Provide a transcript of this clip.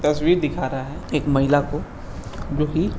दिखा रहा है एक महिला को जो की --